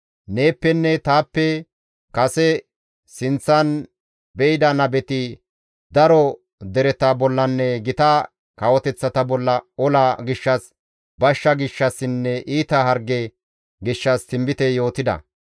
Neeppenne taappe kase sinththan de7ida nabeti daro dereta bollanne gita kawoteththata bolla ola gishshas, bashsha gishshassinne iita harge gishshas tinbite yootida.